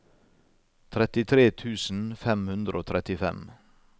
trettitre tusen fem hundre og trettifem